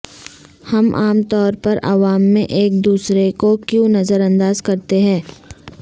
ہم عام طور پر عوام میں ایک دوسرے کو کیوں نظر انداز کرتے ہیں